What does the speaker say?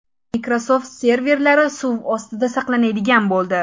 Microsoft serverlari suv ostida saqlanadigan bo‘ldi.